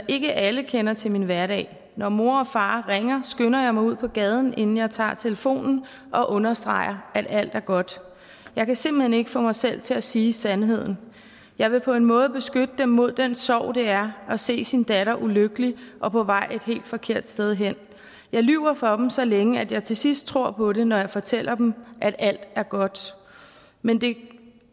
ikke alle kender til min hverdag når mor eller far ringer skynder jeg mig ud på gaden inden jeg tager telefonen og understreger at alt går godt jeg kan simpelthen ikke få mig selv til at sige sandheden jeg vil på en måde beskytte dem mod den sorg det er at se sin datter ulykkelig og på vej et helt forkert sted hen jeg lyver for dem så længe at jeg tilsidst selv tror på det når jeg fortæller dem at alt går godt men det